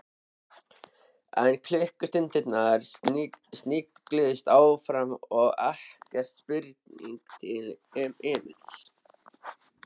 En klukkustundirnar snigluðust áfram og ekkert spurðist til Emils.